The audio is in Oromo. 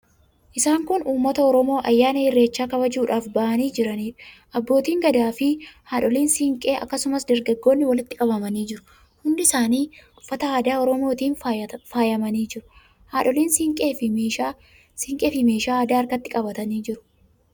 Isaan kun uummata Oromoo ayyaana Irreechaa kabajuudhaaf ba'anii jiraniidha. Abbootiin Gadaafi haadholiin siinqee, akkasumas dargaggootni walitti qabamanii jiru. Hundi isaanii uffata aadaa Oromootiin faayamanii jiru. Haadholiin siinqeefi meeshaa aadaa harkatti qabatanii jiru.